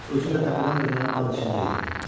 Özün də təpədən dırnağa qan içində idin.